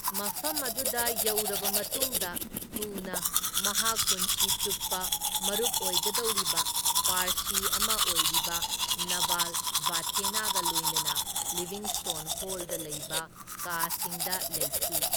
ꯃꯐꯝ ꯑꯗꯨꯗ ꯌꯧꯔꯕ ꯃꯇꯨꯡꯗ ꯊꯨꯅ ꯃꯍꯥꯛ ꯄꯨꯟꯁꯤ ꯆꯨꯞꯄ ꯃꯔꯨꯞ ꯑꯣꯏꯒꯗꯧꯔꯤꯕ ꯄꯥꯔꯁꯤ ꯑꯃ ꯑꯣꯏꯔꯤꯕ ꯅꯚꯥꯜ ꯚꯊꯦꯅꯥꯒ ꯂꯣꯏꯅꯅ ꯂꯤꯚꯤꯡꯁ꯭ꯇꯣꯟ ꯍꯣꯜꯗ ꯂꯩꯕ ꯀꯥꯁꯤꯡꯗ ꯂꯩꯈꯤ꯫